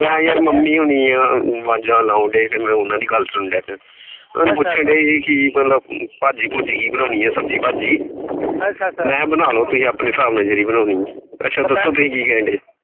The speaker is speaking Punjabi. ਤੇ ਯਾਰ ਮੰਮੀ ਹੋਣੀ ਆ ਵਾਜਾਂ ਲਾਉਣ ਡਏ ਸੀ ਫੇਰ ਮੈ ਉਹਨਾਂ ਦੀ ਗੱਲ ਸੁਣ ਡੈ ਪਿਆ। ਮੈਨੂੰ ਪੁੱਛਣ ਡਏ ਸੀ ਮਤਲਬ ਭਾਜੀ ਭੁਜੀ ਕਿ ਬਣੌਣੀ ਆ ਸਬਜ਼ੀ ਭਾਜੀ